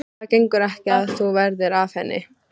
Það gengur ekki að þú verðir af henni.